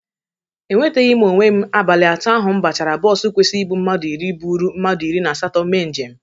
Enweteghi m onwe m abalị atọ m bachara bọsu kwesiri ibụ mmadụ iri bụrụ mmadụ iri na asatọ mee njem.